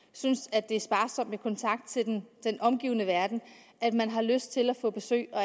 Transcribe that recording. synes at det er sparsomt med kontakt til den omgivende verden har lyst til at få besøg og